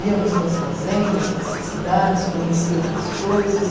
Íamos para as fazendas, para as cidades, conhecer outras coisas.